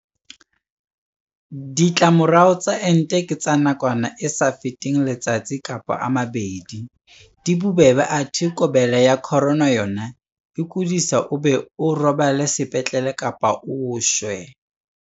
Ditlamorao tsa ente ke tsa nakwana e sa feteng letsatsi kapa a mabedi, di bobebe athe COVID-19 yona e o kodisa o be o robale sepetlele kapa o shwe.